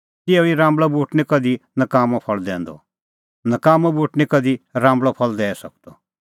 तिहअ ई राम्बल़अ बूट निं कधि नकाम्मअ फल़ दैंदअ नकाम्मअ बूट निं कधि राम्बल़अ फल़ दैई सकदअ